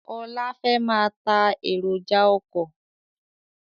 Ọlá fẹ́ máa tá èròjà ọkọ̀